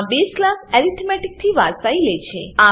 આ base class arithmetic arithmetic થી વારસાઈ લે છે